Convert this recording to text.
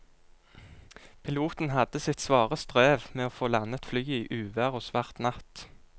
Piloten hadde sitt svare strev med å få landet flyet i uvær og svart natt.